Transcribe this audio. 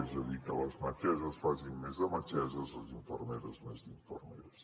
és a dir que les metgesses facin més de metgesses i les infermeres més d’infermeres